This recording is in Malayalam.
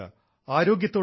ആരോഗ്യത്തോടെയിരിക്കുക